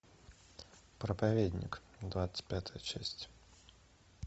проповедник двадцать пятая часть